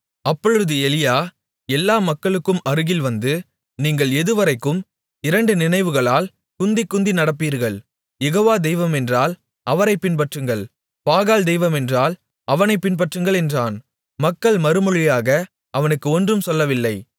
அப்பொழுது எலியா எல்லா மக்களுக்கும் அருகில் வந்து நீங்கள் எதுவரைக்கும் இரண்டு நினைவுகளால் குந்திக்குந்தி நடப்பீர்கள் யெகோவா தெய்வம் என்றால் அவரைப் பின்பற்றுங்கள் பாகால் தெய்வம் என்றால் அவனைப் பின்பற்றுங்கள் என்றான் மக்கள் மறுமொழியாக அவனுக்கு ஒன்றும் சொல்லவில்லை